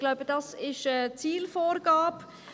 Ich glaube, das ist die Zielvorgabe;